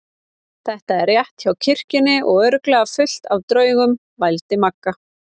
Þetta er rétt hjá kirkjunni og örugglega fullt af draugum. vældi Magga.